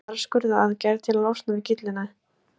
Stundum þarf skurðaðgerð til að losna við gyllinæð.